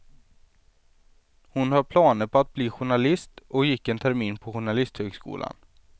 Hon har planer på att bli journalist och gick en termin på journalisthögskolan.